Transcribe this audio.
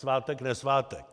Svátek nesvátek.